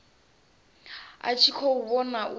a tshi khou vhona u